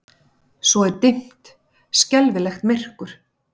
Svo er dimmt, skelfilegt myrkur.